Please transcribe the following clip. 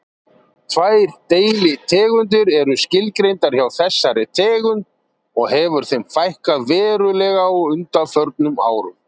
Tvær deilitegundir eru skilgreindar hjá þessari tegund og hefur þeim fækkað verulega á undanförnum árum.